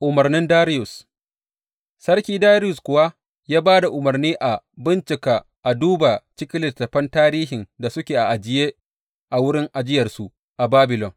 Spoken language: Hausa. Umarnin Dariyus Sarki Dariyus kuwa ya ba da umarni a bincika a duba cikin littattafan tarihin da suke a ajiye a wurin ajiyarsu a Babilon.